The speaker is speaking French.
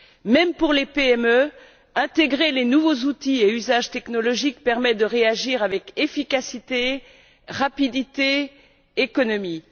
Même pour les PME, le fait d'intégrer les nouveaux outils et usages technologiques permet de réagir avec efficacité, rapidité et économie.